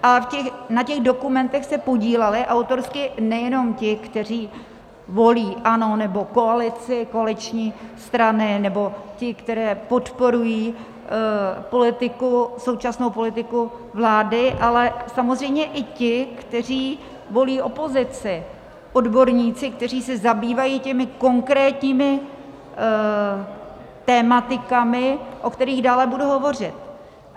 A na těch dokumentech se podíleli autorsky nejenom ti, kteří volí ANO nebo koalici, koaliční strany, nebo ti, kteří podporují politiku, současnou politiku vlády, ale samozřejmě i ti, kteří volí opozici, odborníci, kteří se zabývají těmi konkrétními tematikami, o kterých dále budu hovořit.